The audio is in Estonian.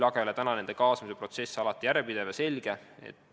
Samas ei ole nende kaasamise protsess järjepidev ja alati selge.